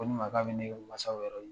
Koni makan bɛ ne ye mansaw yɔrɔ